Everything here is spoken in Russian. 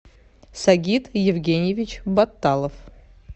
сагит евгеньевич баталов